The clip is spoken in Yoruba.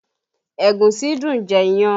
Ẹ̀gúsí dùn jẹ iyán